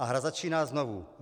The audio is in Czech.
A hra začíná znovu.